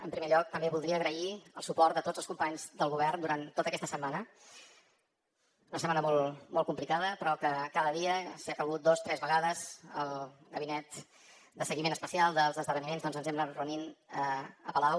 en primer lloc també voldria agrair el suport de tots els companys del govern durant tota aquesta setmana una setmana molt complicada però que cada dia si ha calgut dos tres vegades el gabinet de seguiment especial dels esdeveniments doncs ens hem anat reunint a palau